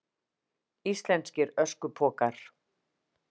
Íslenskir öskupokar.